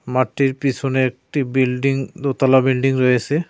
মাঠটির পিছনে একটি বিল্ডিং দোতলা বিল্ডিং রয়েসে।